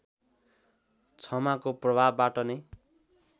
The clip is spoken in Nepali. क्षमाको प्रभावबाट नै